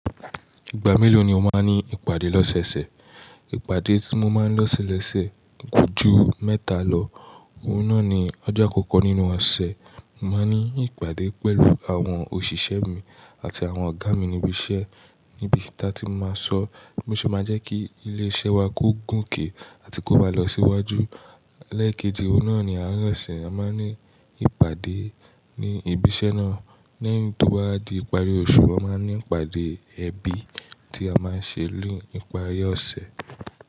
Ìgbà mélòó ni o máa ń ní ìpàdé lọ́sẹ̀ẹ̀sẹ̀? Ìpàdé tí mo máa ń lọ́sẹ̀ lọ́ṣẹ̀ kò ju mẹ́ta lọ. Òhun náà ni ọjọ́ àkọ́kọ́ nínú ọ̀sẹ̀, mo máa ní ìpàdé pẹ̀lú àwọn òṣìṣẹ́ mi àti àwọn ọ̀gá mi níbi iṣẹ́, níbi tí a ti máa sọ bí a ṣe máa jẹ́ kí ilé iṣẹ́ wa kó gùn ké àti kó ba lọ síwájú. Lẹ́ẹ̀keji òhun náà ni àárín ọ̀sẹ̀, a máa ní ìpàdé ní ibi iṣẹ́ náà. Lẹ́yìn tó báwà di ìparí oṣù, a máa ní ìpàdé ẹbí tí a máa ṣe náa ní ìparí ọ̀sẹ̀.